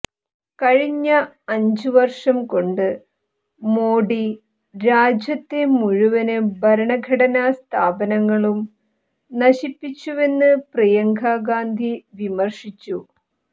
കഴിഞ്ഞ അഞ്ച് വര്ഷം കൊണ്ട് മോഡി രാജ്യത്തെ മുഴുവന് ഭരണ ഘടനാ സ്ഥാപനങ്ങളും നശിപ്പിച്ചുവെന്ന് പ്രിയങ്ക ഗാന്ധി വിമര്ശിച്ചു